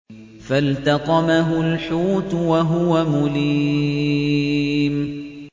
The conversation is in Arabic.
فَالْتَقَمَهُ الْحُوتُ وَهُوَ مُلِيمٌ